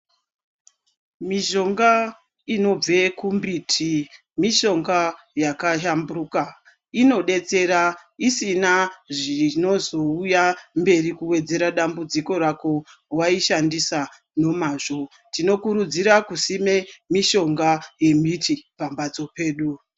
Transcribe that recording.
Mishonga inobve kumbiti mishonga yakashamburuka inodetsera isina zvinozouya mberi kuwedzera dambudziko rako waishandisa nemazvo tinokurudzira kusima mushonga yembiti pamhatso pedu.